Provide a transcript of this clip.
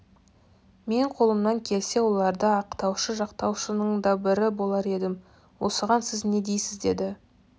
мен қолымнан келсе оларды ақтаушы жақтаушының да бірі болар едім осыған сіз не дейсіз деді